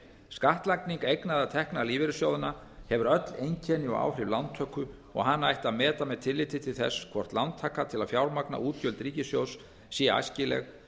skattlagning eigna eða tekna lífeyrissjóðanna hefur öll einkenni og áhrif lántöku og hana ætti að meta með tilliti til þess hvort lántaka til að fjármagna útgjöld ríkissjóðs sé æskileg